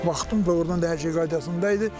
Baxdım ordan da hər şey qaydasında idi.